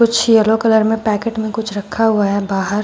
कुछ yellow colour में packet में कुछ रखा हुआ है बाहर।